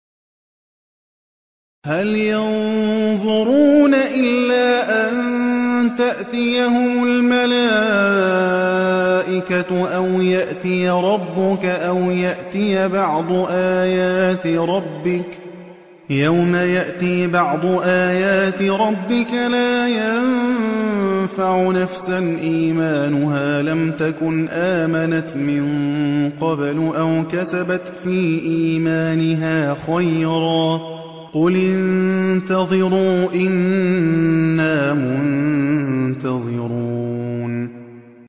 هَلْ يَنظُرُونَ إِلَّا أَن تَأْتِيَهُمُ الْمَلَائِكَةُ أَوْ يَأْتِيَ رَبُّكَ أَوْ يَأْتِيَ بَعْضُ آيَاتِ رَبِّكَ ۗ يَوْمَ يَأْتِي بَعْضُ آيَاتِ رَبِّكَ لَا يَنفَعُ نَفْسًا إِيمَانُهَا لَمْ تَكُنْ آمَنَتْ مِن قَبْلُ أَوْ كَسَبَتْ فِي إِيمَانِهَا خَيْرًا ۗ قُلِ انتَظِرُوا إِنَّا مُنتَظِرُونَ